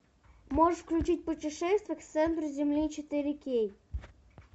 можешь включить путешествие к центру земли четыре кей